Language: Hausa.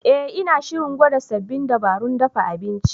Eh, Ina shirin gwada sabbin dabarun dafa abinci.